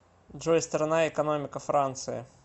джой страна экономика франции